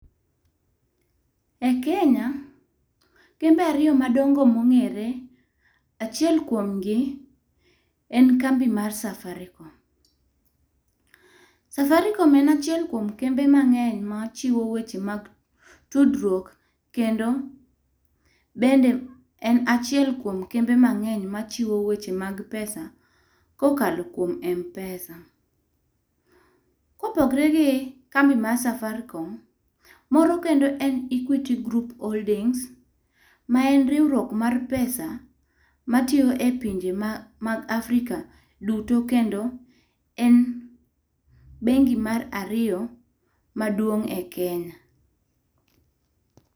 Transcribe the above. E kenya kembe ariyo madongo mo ong'ere, achiel kuom gi en kambi mar safaricom. Safaricom en achiel kuom kembe mang'eny ma chiwo weche mag tudruok kendo bende en achiel kuom kembe mang'eny ma chiwo weche mag pesa ko okalo kuom mpesa. ko opogre gi kambi mar safaricom, moro kendo en equity group holdings ma en riwruok mar pesa ma tiyo e pinje mag Afrika duto kendo en bengi mar ariyo maduong' e Kenya.